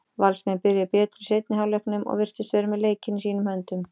Valsmenn byrjuðu betur í seinni hálfleiknum og virtust vera með leikinn í sínum höndum.